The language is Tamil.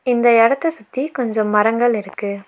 இந்த எடத்த சுத்தி கொஞ்சொ மரங்கள் இருக்கு.